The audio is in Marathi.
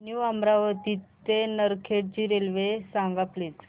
न्यू अमरावती ते नरखेड ची रेल्वे सांग प्लीज